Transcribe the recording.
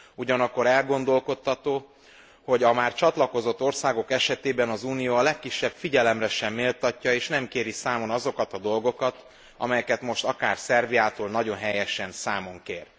Ugyanakkor elgondolkodtató, hogy a már csatlakozott országok esetében az Unió a legkisebb figyelemre sem méltatja és nem kéri számon azokat a dolgokat, amelyeket most akár Szerbiától nagyon helyesen számon kér.